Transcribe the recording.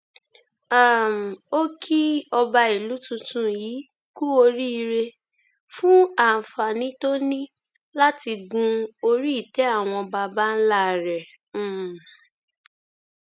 um ó kí ọba ìlú tuntun yìí kú oríire fún àǹfààní tó ní láti gun oríìtẹ àwọn baba ńlá rẹ um